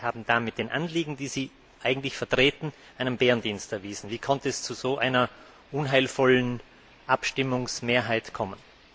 Sie haben damit den Anliegen, die Sie eigentlich vertreten, einen Bärendienst erwiesen. Wie konnte es zu so einer unheilvollen Abstimmungsmehrheit kommen?